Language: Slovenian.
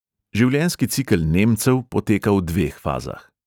Življenjski cikel nemcev poteka v dveh fazah.